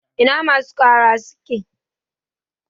Ina masu ƙara suke?